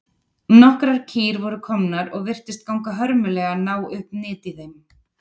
Nokkrar kýr voru komnar og virtist ganga hörmulega að ná upp nyt í þeim.